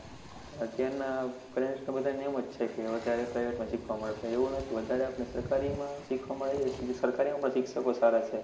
અત્યાર ના parents ને બધા ને એમજ છે કે વધારે private માં સીખવા મળે આવું નથી વધારે આપણને સરકારી માં શી ખવા મળે સરકારી માં પણ શિક્ષકો જ સારા છે